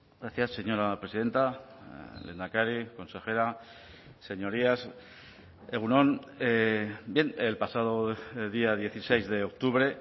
gracias señora presidenta lehendakari consejera señorías egun on bien el pasado día dieciséis de octubre